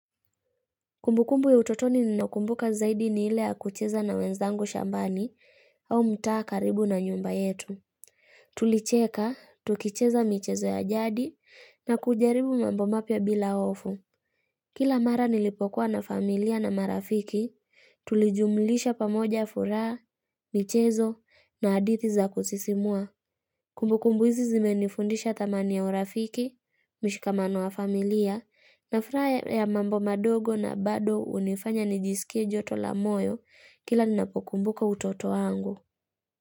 Kumbukumbu ya utotoni ninaokumbuka zaidi ni ile ya kucheza na wenzangu shambani au mtaa karibu na nyumba yetu. Tulicheka, tukicheza michezo ya jadi na kujaribu mambo mapya bila hofu. Kila mara nilipokuwa na familia na marafiki, tulijumlisha pamoja furaha, michezo na hadithi za kusisimua. Kumbukumbu hizi zimenifundisha thamani ya urafiki, mshikamano wa familia, na furaha ya mambo madogo na bado hunifanya nijisikie joto la moyo kila ninapokumbuka utoto wangu.